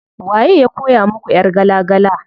Waye ya koya muku ƴar gala gala?